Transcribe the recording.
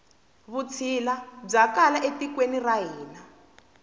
vutshila bya kala e tikweni ra hina